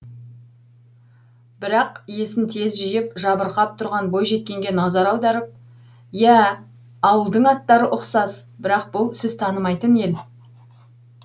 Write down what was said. бірақ есін тез жиып жабырқап тұрған бойжеткенге назар аударып иә ауылдың аттары ұқсас бірақ бұл сіз танымайтын ел